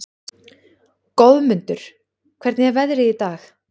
Goðmundur, hvernig er veðrið í dag?